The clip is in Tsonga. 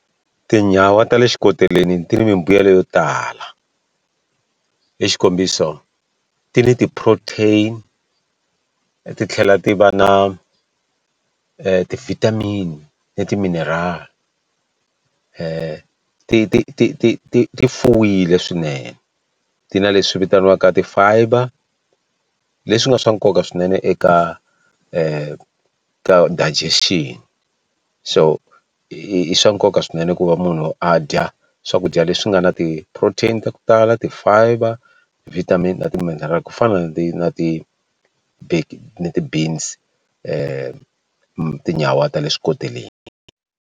Tinyawa ta le xikoteleni ti ni mimbuyelo yo tala hi xikombiso ti ni ti-protein titlhela ti va na ti-vitamin ni ti-mineral ti ti ti ti ti ti ti fuwile swinene ti na leswi vitaniwaka ti-fiber leswi nga swa nkoka swinene eka ka digestion so i i swa nkoka swinene ku va munhu a dya swakudya leswi nga na ti-protein ta ku tala ti-fiber vitamin na ti-material ku fana ni ti na ti ti-beans tinyawa ta le swikoteleni.